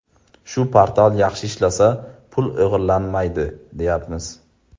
Shu portal yaxshi ishlasa, pul o‘g‘irlanmaydi, deyapmiz.